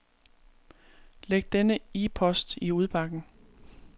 Læg denne e-post i udbakken.